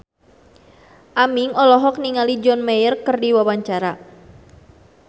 Aming olohok ningali John Mayer keur diwawancara